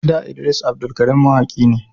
Da Idris Abdulkarim mawaki ne